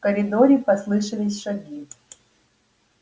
в коридоре послышались шаги